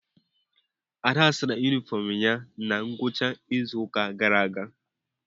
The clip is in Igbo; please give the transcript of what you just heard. Ada sara yunifọọm ya na ngwụcha izu ụka gara aga.